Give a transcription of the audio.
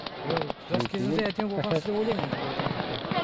жас кезде әдемі болғансыз деп ойлаймын енді былай айтқанда